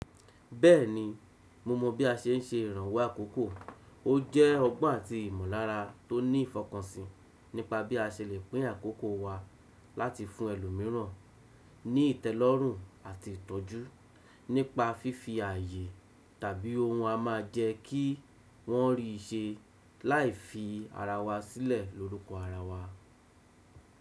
Bẹ́ẹ̀ni, mo mọ bí a ṣe ń ṣe ìrànwọ́ àkókò. Ó jẹ́ ọgbọ́n àti ìmọ̀lára tó ní ìfọkànsìn nípa bí a ṣe lè pín àkókò wa láti fún ẹlòmíràn ní ìtẹ́lọ́rùn àti ìtọ́jú, nípa fífi ààyè tàbí ohun a máa jẹ kí wọ́n rí ṣe láì fi ara wa sílẹ̀ lórúkọ ara wa.